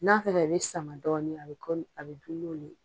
N'a fɛnɛ bɛ sama dɔɔnin a bɛ a bɛ dun n'o le ye